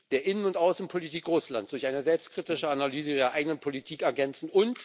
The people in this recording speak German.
der Innen und Außenpolitik Russlands durch eine selbstkritische Analyse ihrer eigenen Politik ergänzen.